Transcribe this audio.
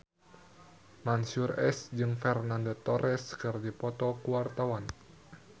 Mansyur S jeung Fernando Torres keur dipoto ku wartawan